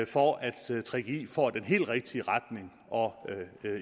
for at gggi får den helt rigtige retning og